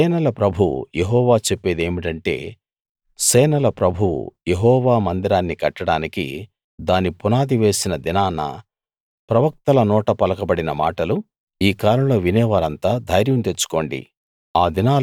సేనల ప్రభువు యెహోవా చెప్పేదేమిటంటే సేనల ప్రభువు యెహోవా మందిరాన్ని కట్టడానికి దాని పునాది వేసిన దినాన ప్రవక్తల నోట పలకబడిన మాటలు ఈ కాలంలో వినే మీరంతా ధైర్యం తెచ్చుకోండి